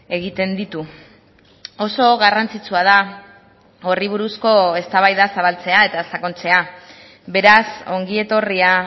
egiten ditu oso garrantzitsua da horri buruzko eztabaida zabaltzea eta sakontzea beraz ongi etorria